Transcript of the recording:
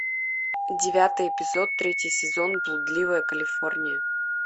девятый эпизод третий сезон блудливая калифорния